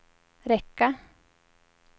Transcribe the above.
räcka